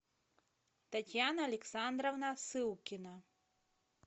татьяна александровна сылкина